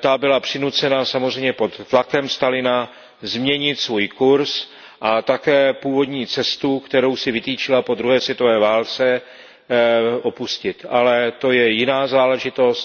ta byla přinucena, samozřejmě pod tlakem Stalina, změnit svůj kurz a také původní cestu, kterou si vytyčila po druhé světové válce, opustit. Ale to je jiná záležitost.